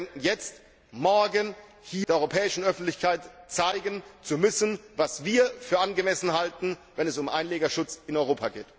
Aber wir denken, jetzt morgen der europäischen Öffentlichkeit zeigen zu müssen, was wir für angemessen halten, wenn es um Einlegerschutz in Europa geht.